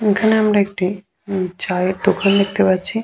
এখানে আমরা একটি উম চায়ের দোকান দেখতে পাচ্ছি ।